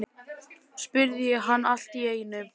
spurði ég hana allt í einu.